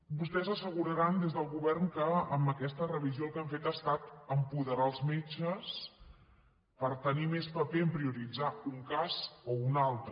vostès asseguraran des del govern que amb aquesta revisió el que han fet ha estat apoderar els metges per tenir més paper a prioritzar un cas o un altre